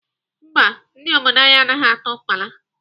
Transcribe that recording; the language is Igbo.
Mba, ndị obodo anyị anaghị ata ukpala.